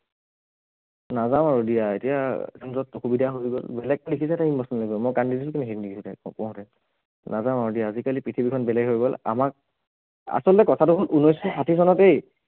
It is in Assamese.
নাযাওঁ আৰু দিয়া এতিয়া অসুবিধা হৈ গল, বেলেগকে লিখিছে তাই emotional কৰি মই কান্দি দিলোতো মই পঢ়োতে, নাযাওঁ আৰু দিয়া আজিকালি পৃথিৱীখন বেলেগ হৈ গল আমাক, আচলতে কথাটো হল ঊনৈছশ ষাঠি চনতেই